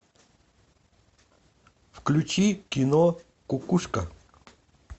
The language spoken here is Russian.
включи кино кукушка